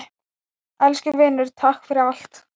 Elsku vinur, takk fyrir allt.